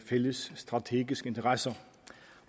fælles strategiske interesser